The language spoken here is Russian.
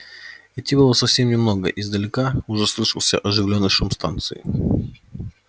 идти было совсем немного издалека уже слышался оживлённый шум станции